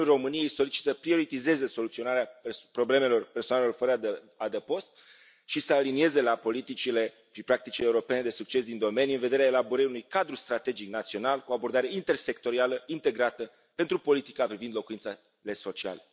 Guvernul României solicită să prioritizeze soluționarea problemelor persoanelor fără adăpost și să alinieze la politicile și practicile europene de succes din domenii, în vederea elaborării unui cadru strategic național cu abordare intersectorială integrată pentru politica privind locuințele sociale.